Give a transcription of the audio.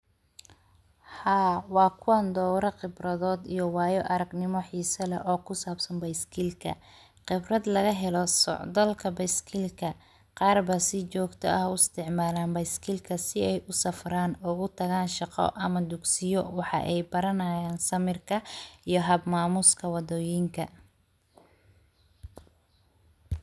Haa waa kuwan dowro khibradod iyo waayo aragnimo xiisa leh oo kusabsan bayskilka khibrad lagahelo socdalka bayskilka qarba si jogta ah uu isticmalan bayskilka si ay usafran, ugutagan shaqo ama dugsiyo waxa ay baranayan samirka iyo hab mamuska wadoyinka.